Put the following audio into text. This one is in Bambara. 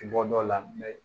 Bɔ dɔw la